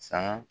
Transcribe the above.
Saga